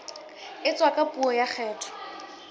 etswa ka puo ya kgetho